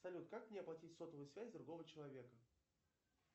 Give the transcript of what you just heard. салют как мне оплатить сотовую связь другого человека